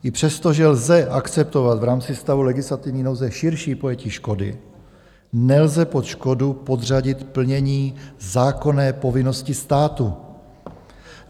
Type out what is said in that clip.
I přesto, že lze akceptovat v rámci stavu legislativní nouze širší pojetí škody, nelze pod škodu podřadit plnění zákonné povinnosti státu.